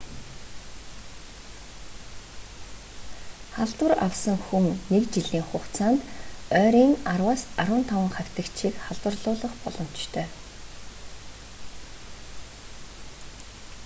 халдвар авсан хүн нэг жилийн хугацаанд ойрын 10-15 хавьтагчийг халдварлуулах боломжтой